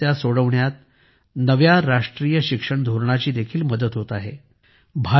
या समस्या सोडवण्यात नव्या राष्ट्रीय शिक्षण धोरणाची देखील मदत होत आहे